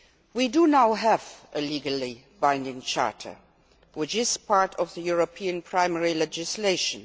We now have a legally binding charter which is part of the EU's primary legislation.